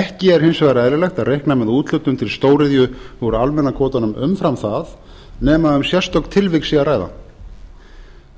ekki er hins vegar eðlilegt að reikna með úthlutun til stóriðju úr almenna kvótanum umfram það nema um sérstök tilvik sé að ræða